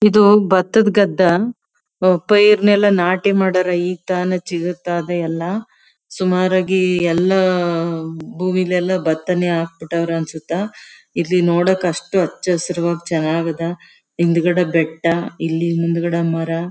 ಇದು ಬತದ ಗಧ್ದಾ ಪೈರನ್ನೆಲ್ಲ ನಾಟಿ ಮಾಡ್ಯಾರ ಈಗ್ತಾನೇ ಚಿಗರ್ತ ಇದೆ ಎಲ್ಲ ಸುಮಾರಾಗಿ ಎಲ್ಲ ಭೂಮಿಲಿ ಎಲ್ಲ ಭತನೆ ಹಾಕಬಿಟ್ಟವರ ಅನ್ಸುತ್ತಾ ಇಲ್ಲಿ ನೋಡೋಕ್ ಅಷ್ಟು ಅಚ್ಚು ಹಸಿರುವಾಗಿ ಚನ್ನಗದ ಹಿಂದ್ಗಡೆ ಬೆಟ್ಟ ಇಲ್ಲಿ ಮುಂದ್ಗಡೆ ಮರ--